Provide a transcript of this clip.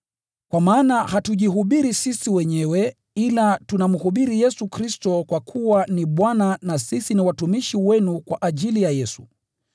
Kwa maana hatujihubiri sisi wenyewe ila tunamhubiri Yesu Kristo kuwa ni Bwana na sisi ni watumishi wenu kwa ajili ya Yesu.